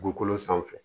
Dugukolo sanfɛ